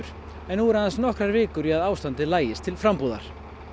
en nú eru aðeins nokkrar vikur í að ástandið lagist til frambúar